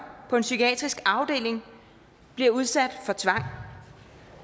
på en psykiatrisk afdeling bliver udsat for tvang